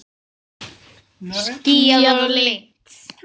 Skýjað og lygnt.